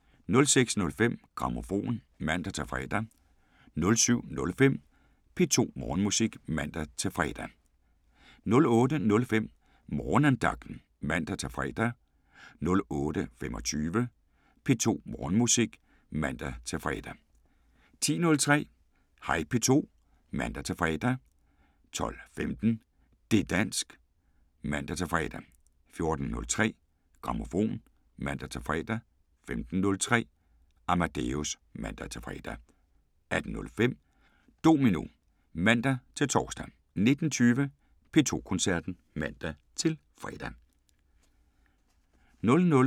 06:05: Grammofon (man-fre) 07:05: P2 Morgenmusik (man-fre) 08:05: Morgenandagten (man-fre) 08:25: P2 Morgenmusik (man-fre) 10:03: Hej P2 (man-fre) 12:15: Det´ dansk (man-fre) 14:03: Grammofon (man-fre) 15:03: Amadeus (man-fre) 18:05: Domino (man-tor) 19:20: P2 Koncerten (man-fre)